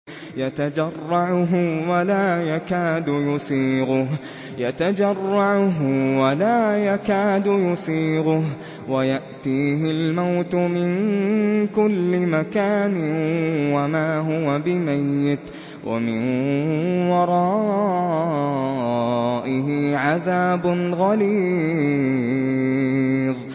يَتَجَرَّعُهُ وَلَا يَكَادُ يُسِيغُهُ وَيَأْتِيهِ الْمَوْتُ مِن كُلِّ مَكَانٍ وَمَا هُوَ بِمَيِّتٍ ۖ وَمِن وَرَائِهِ عَذَابٌ غَلِيظٌ